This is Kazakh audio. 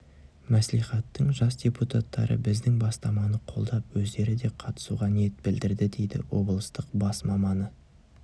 мәслихаттың жас депутаттары біздің бастаманы қолдап өздері де қатысуға ниет білдірді дейді облыстық бас маманы